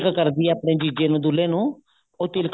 ਉਹ ਕਰਦੀ ਹੈ ਆਪਨੇ ਜੀਜੇ ਨੂੰ ਦੁਲਹੇ ਉਹ ਤਿਲਕ